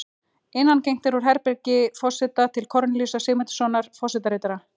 Innangengt er úr herbergi forseta til Kornelíusar Sigmundssonar forsetaritara.